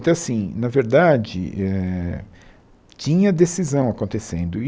Então, assim, na verdade eh, tinha decisão acontecendo e.